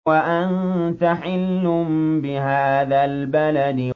وَأَنتَ حِلٌّ بِهَٰذَا الْبَلَدِ